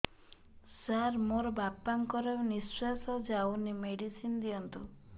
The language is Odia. ସାର ମୋର ବାପା ଙ୍କର ନିଃଶ୍ବାସ ଯାଉନି ମେଡିସିନ ଦିଅନ୍ତୁ